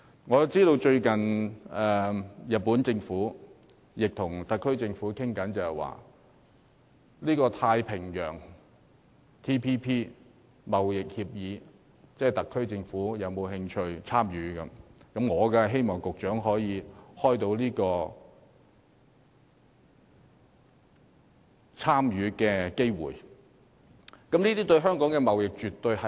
我知道最近日本政府正與特區政府商討，詢問我們是否有興趣加入《跨太平洋夥伴關係協定》，我當然希望局長能開拓參與有關協作的機會。